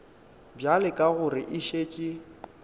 bjale ka gore e šetše